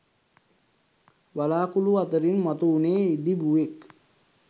වළාකුළු අතරින් මතු වුණේ ඉදිබුවෙක්.